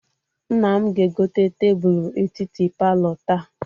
Nna m ga-egote tebulu etiti palọ taa.